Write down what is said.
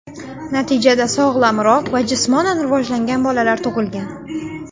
Natijada sog‘lomroq va jismonan rivojlangan bolalar tug‘ilgan.